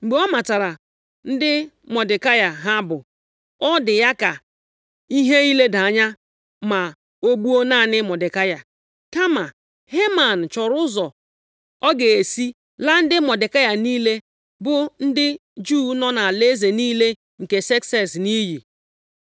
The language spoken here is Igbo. Mgbe ọ matara ndị Mọdekai ha bụ, ọ dị ya ka ihe ileda anya ma o gbuo naanị Mọdekai. Kama Heman chọrọ ụzọ ọ ga-esi laa ndị Mọdekai niile, bụ ndị Juu nọ nʼalaeze niile nke Sekses nʼiyi.